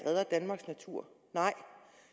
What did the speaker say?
redder danmarks natur nej